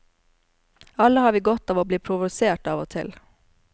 Alle har vi godt av å bli provosert av og til.